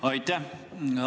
Aitäh!